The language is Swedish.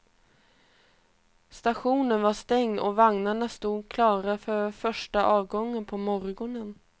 Stationen var stängd och vagnarna stod klara för första avgången på morgonen.